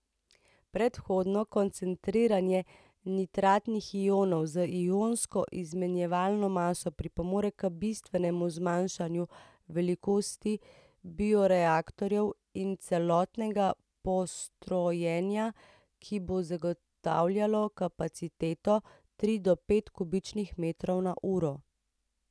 Predhodno koncentriranje nitratnih ionov z ionsko izmenjevalno maso pripomore k bistvenemu zmanjšanju velikosti bioreaktorjev in celotnega postrojenja, ki bo zagotavljalo kapaciteto tri do pet kubičnih metrov na uro.